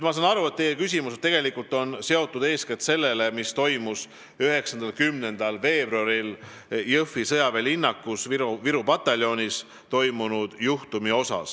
Ma saan aru, et teie küsimus on seotud eeskätt sellega, mis toimus 9.-10. veebruaril Jõhvi sõjaväelinnakus Viru pataljonis.